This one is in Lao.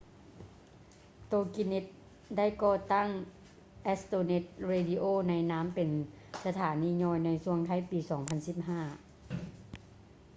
ໂຕກິແນັດ toginet ໄດ້ກໍ່ຕັ້ງ astronet radio ໃນນາມເປັນສະຖານີຍ່ອຍ ໃນຊ່ວງທ້າຍປີ 2015